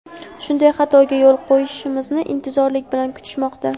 shunday xatoga yo‘l qo‘yishimizni intizorlik bilan kutishmoqda.